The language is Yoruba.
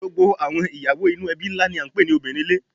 Gbogbo àwọn ìyàwó inú ẹbí ńlá ni à ń pè ní obìnrin ilé